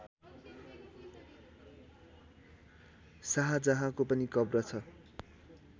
शाहजहाँको पनि कब्र छ